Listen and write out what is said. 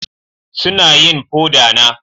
Suna yin foda na